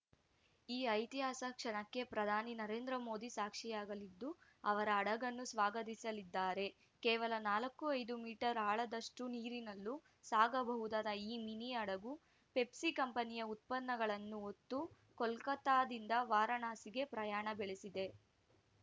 ಈ ಐತಿಹಾಸಿಕ ಕ್ಷಣಕ್ಕೆ ಪ್ರಧಾನಿ ನರೇಂದ್ರ ಮೋದಿ ಸಾಕ್ಷಿಯಾಗಲಿದ್ದು ಅವರ ಹಡಗನ್ನು ಸ್ವಾಗತಿಸಲಿದ್ದಾರೆ ಕೇವಲ ನಾಲ್ಕು ಐದು ಮೀಟರ್‌ ಆಳದಷ್ಟುನೀರಿನಲ್ಲೂ ಸಾಗಬಹುದಾದ ಈ ಮಿನಿ ಹಡಗು ಪೆಪ್ಸಿ ಕಂಪನಿಯ ಉತ್ಪನ್ನಗಳನ್ನು ಹೊತ್ತು ಕೋಲ್ಕತಾದಿಂದ ವಾರಾಣಸಿಗೆ ಪ್ರಯಾಣ ಬೆಳೆಸಿದೆ